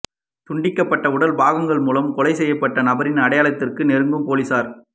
துண்டிக்கபட்ட உடல் பாகங்கள் மூலம் கொலை செய்யபட்ட நபரின் அடையாளத்திற்கு நெருங்கும் பொலிசார்